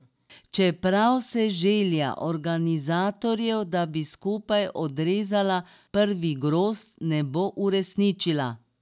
Čeprav se želja organizatorjev, da bi skupaj odrezala prvi grozd, ne bo uresničila.